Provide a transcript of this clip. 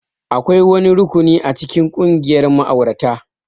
Akwai wani rukuni a cikin ƙungiyar ma'aurata